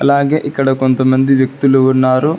అలాగే ఇక్కడ కొంతమంది వ్యక్తులు ఉన్నారు.